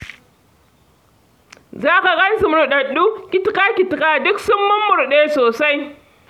Za ka gan su murɗaɗɗu kitika-kitika, duk sun mummurɗe sosai.